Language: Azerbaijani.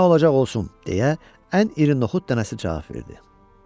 Nə olacaq, qoy olsun, deyə ən iri noxud dənəsi cavab verdi.